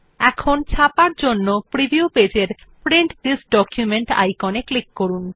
এখন ছাপার জন্য প্রিভিউ পেজ এর প্রিন্ট থিস ডকুমেন্ট আইকন এ ক্লিক করুন